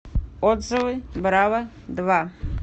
отзывы браво два